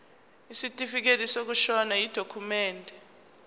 isitifikedi sokushona yidokhumende